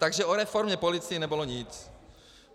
Takže o reformě policie nebylo nic.